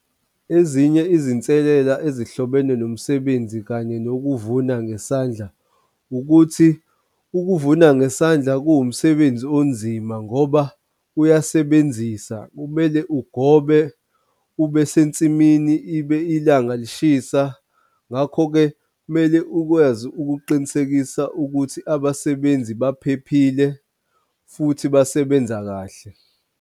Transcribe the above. Ezinye izinselela ezihlobene nomsebenzi kanye nokuvuna ngesandla ukuthi ukuvuna ngesandla kuwumsebenzi onzima ngoba uyasebenzisa, kumele ugobe ube sensimini ibe ilanga lishisa. Ngakho-ke kumele ukwazi ukuqinisekisa ukuthi abasebenzi baphephile futhi basebenza kahle.